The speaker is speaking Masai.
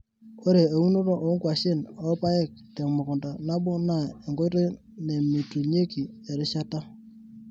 Ore eunoto oo nkwashen opaek temukunda nabo naa enkoitoi namitunyeki erishata.